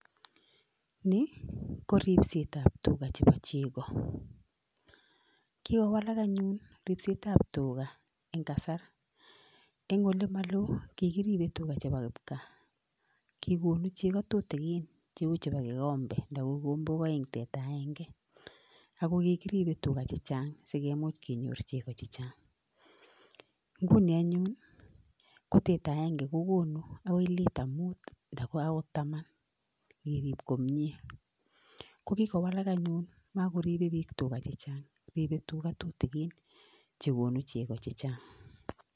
Ni kiripsetab tugaa chebo chegoo, kikowalak anyun ripsetab tugaa en kasar. Eng olemoloo ko kikiribe tugaa chebo kipgaa, kikonuu chegoo tutigin cheu cheboo kikombet anan ko kombok oeng tera agenge. Ako kikiribe tuga chechang sikimuch kenyoor chegoo chechang. Inguni anyun ko teta agenge ko konuu akoi Lita mut anan akoi Taman, ingeriib komie. Kokikowalak anyun makoribe biik tuga chechang, ribe bik tugaa tutikin chekonuu chegoo chechang.